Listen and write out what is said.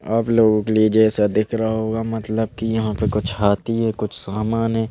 आप लोगों के लिए जैसा दिख रहा होगा मतलब कि यहाँ पे कुछ हाथी हैं कुछ सामान हैं।